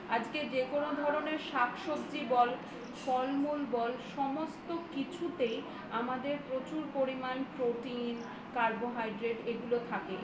আজকে যেকোনো ধরনের শাকসবজি বল ফলমূল বল তো কিছুতেই আমাদের প্রচুর পরিমাণে Protein carbohydrate এগুলো থাকে